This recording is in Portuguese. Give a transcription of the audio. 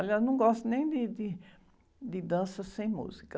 Aliás, não gosto nem de, de, de dança sem música.